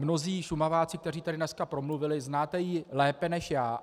Mnozí Šumaváci, kteří tady dneska promluvili, znáte ji lépe než já.